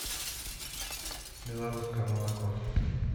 белорусское молоко